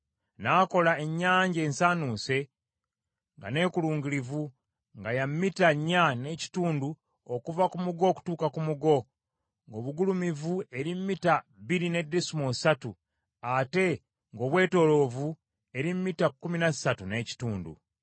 N’akola Ennyanja ensaanuuse, nga neekulungirivu, nga ya mita nnya n’ekitundu okuva ku mugo okutuuka ku mugo, ng’obugulumivu eri mita bbiri ne desimoolo ssatu, ate ng’obwetooloovu eri mita kkumi na ssatu n’ekitundu.